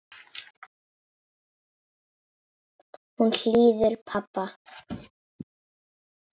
Hún hlýðir pabba.